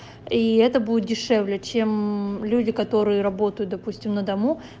и это будет дешевле чем люди которые работают допустим на дому